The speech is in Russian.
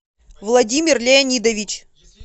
владимир леонидович